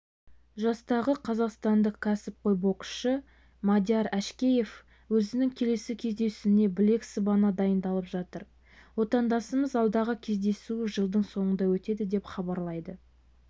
жастағы қазақстандық кәсіпқой боксшы мадияр әшкеев өзінің келесі кездесуіне білек сыбана дайындалып жатыр отандасымыз алдағы кездесуі жылдың соңында өтеді деп хабарлайды